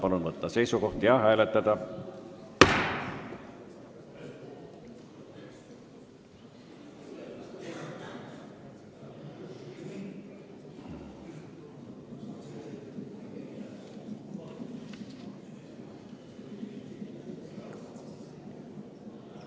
Palun võtta seisukoht ja hääletada!